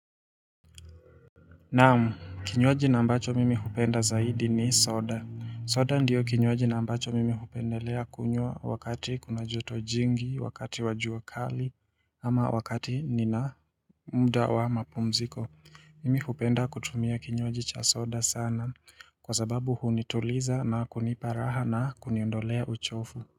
Naam, kinywaji na ambacho mimi hupenda zaidi ni soda. Soda ndio kinywaji na ambacho mimi hupendelea kunywa wakati kuna joto jingi, wakati wajua kali ama wakati nina mda wa mapumziko. Mimi hupenda kutumia kinywaji cha soda sana kwa sababu hunituliza na kuniparaha na kuniondolea uchofu.